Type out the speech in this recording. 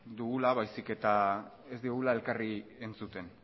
dugula baizik eta ez digula elkarri entzuten